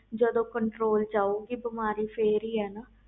ਜਦੋ ਕੋਈ control ਚ ਆਵੇ ਗਏ ਫਿਰ